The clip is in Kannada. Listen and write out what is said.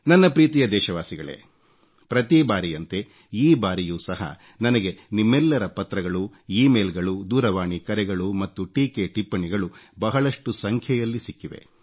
ನನ್ನ ಪ್ರೀತಿಯ ದೇಶವಾಸಿಗಳೇ ಪ್ರತಿ ಬಾರಿಯಂತೆ ಈ ಬಾರಿಯೂ ಸಹ ನನಗೆ ನಿಮ್ಮೆಲ್ಲರ ಪತ್ರಗಳು ಇಮೇಲ್ ಗಳು ದೂರವಾಣಿ ಕರೆಗಳು ಮತ್ತು ಟೀಕೆ ಟಿಪ್ಪಣಿಗಳು ಬಹಳಷ್ಟು ಸಂಖ್ಯೆಯಲ್ಲಿ ಸಿಕ್ಕಿದೆ